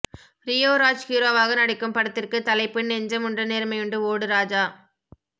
Rio Raj ஹீரோவாக நடிக்கும் படத்திற்கு தலைப்பு நெஞ்சமுண்டு நேர்மையுண்டு ஓடு ராஜா